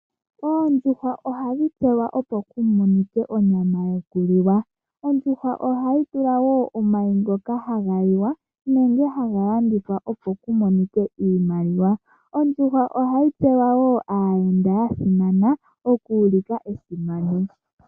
Oondjuhwa ohadhi pewa okulya opo kumonike onyama yokuliwa. Ondjuhwa ohayi vala wo omayi ngoka haga liwa nenge haga landithwa opo kumonike iimaliwa. Ondjuhwa ohayi pewa wo aayenda yasimana okuulika esimano.